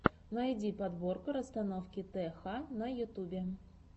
найди подборка расстановки тх на ютюбе